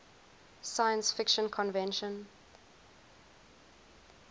science fiction convention